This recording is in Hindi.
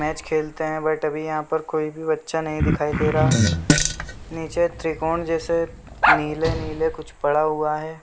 मैच खेलते है बट यहाँ पे कोई भी बच्चा नहीं दिखाई दे रहा है निचे त्रिकोण जैसे नीले-नीले कुछ पड़ा हुआ है।